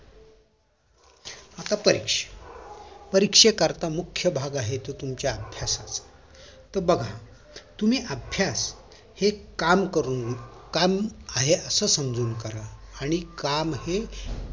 आता परीक्षा परीक्षे करता जो मुख्य भाग आहे तो तुम्हाच्या अभ्यासाचा तर बघा तुम्ही अभ्यास हे काम करून काम आहे असं समजून करा आणि काम हे